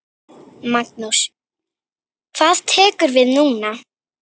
Magnús: Hvað tekur við núna?